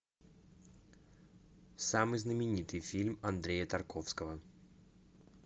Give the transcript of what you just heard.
самый знаменитый фильм андрея тарковского